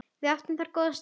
Við áttum þar góða stund.